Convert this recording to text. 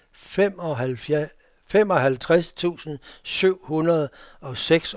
femoghalvtreds tusind syv hundrede og seksoghalvfjerds